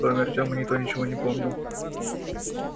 кроме артёма никто ничего не помнил